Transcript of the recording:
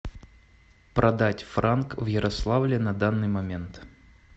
продать франк в ярославле на данный момент